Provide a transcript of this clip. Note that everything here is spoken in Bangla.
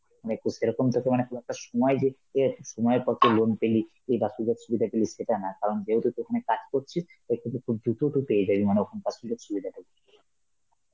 মানে কু~ সেরকম তোকে মানে খুব একটা সময় যে~ অ্যাঁ সময় loan পেলি, এই সুবিধা গুলি সেটা না কারণ যেহেতু তুই ওখানে কাজ করছিস দ্রুত পেয়ে যাবে মানে ওখানকার সুযোগ সুবিধাটাকে.